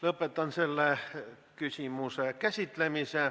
Lõpetan selle küsimuse käsitlemise.